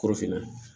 Kɔrɔfinna